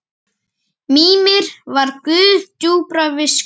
Mímir var guð djúprar visku.